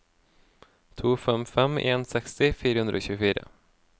to fem fem en seksti fire hundre og tjuefire